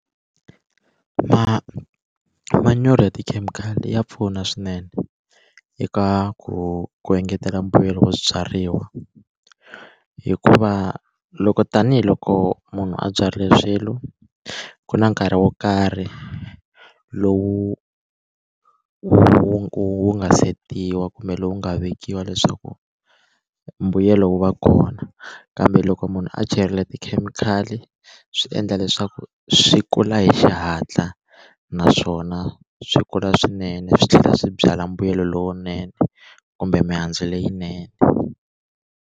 Ma manyoro ya tikhemikhali ya pfuna swinene eka ku ku engetela mbuyelo wa swibyariwa hikuva loko tanihiloko munhu a byarile swilo ku na nkarhi wo karhi lowu wu nga setiwa kumbe lowu nga vekiwa leswaku mbuyelo wu va kona kambe loko munhu a chela tikhemikhali swi endla leswaku swi kula hi xihatla naswona swi kula swinene swi tlhela swi byala mbuyelo lowunene kumbe mihandzu leyinene.